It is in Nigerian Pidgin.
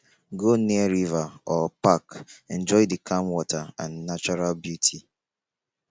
go near river or park enjoy the calm water and natural beauty